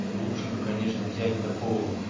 лучше бы конечно взять такого вот